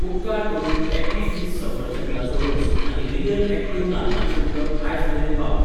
उपकार करून Appy Fizz सफरचंदाचो रोस आनी रियल ॲक्टिव नाल्लाचें उदक आयज मेरेन पावय.